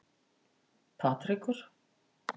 Patrekur